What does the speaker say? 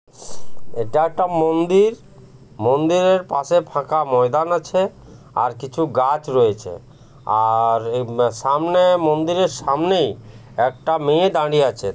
এটা একটা মন্দির মন্দিরের পাশে ফাঁকা ময়দান আছে আর কিছু গাছ রয়েছে আর উম সামনে মন্দিরের সামনেই একটা মেয়ে দাঁড়িয়ে আছে।